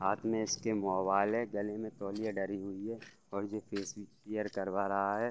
हाथ में इसके मोबाइल है गले में तौलिया डली हुई है और ये फेस केयर करवा रहा है ।